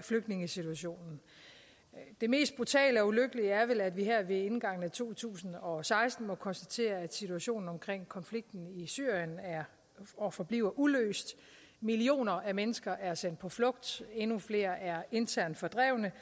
flygtningesituationen det mest brutale og ulykkelige er vel at vi her ved indgangen af to tusind og seksten må konstatere at situationen omkring konflikten i syrien er og forbliver uløst millioner af mennesker er sendt på flugt endnu flere er internt fordrevne